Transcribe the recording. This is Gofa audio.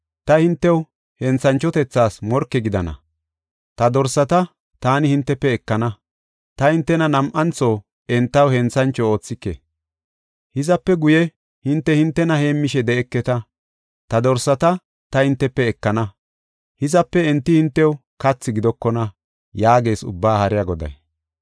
Ta hintew, henthanchohotas morke gidana; ta dorsata taani hintefe ekana; ta hintena nam7antho entaw henthancho oothike. Hizape guye hinte hintena heemmishe de7eketa. Ta dorsata ta hintefe ekana; hizape enti hintew kathi gidokona” yaagees Ubbaa Haariya Goday.